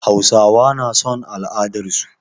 Hausawa na son al'adarsu.